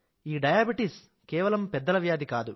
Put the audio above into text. diabetes కేవలం పెద్దల వ్యాధి కాదు